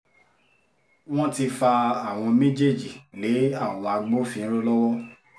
wọ́n ti fa àwọn méjèèjì lé àwọn agbófinró lọ́wọ́